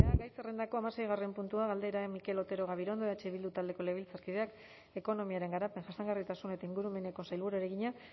gai zerrendako hamaseigarren puntua galdera mikel otero gabirondo eh bildu taldeko legebiltzarkideak ekonomiaren garapen jasangarritasun eta ingurumeneko sailburuari egina